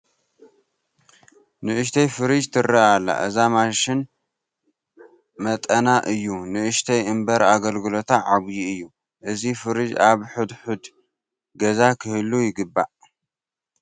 ንኡሽተይ ፍርጅ ትርአ ኣላ፡፡ እዛ ማሽን መጠና እዩ ንኡሽተይ እምበር ኣገልግሎታ ዓብዪ እዩ፡፡ እዚ ፍሪጅ ኣብ ሕድ ሕድ ገዛ ክህሉ ይግብኦ፡፡